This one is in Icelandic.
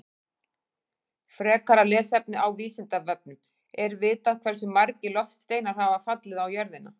Frekara lesefni á Vísindavefnum: Er vitað hversu margir loftsteinar hafa fallið á jörðina?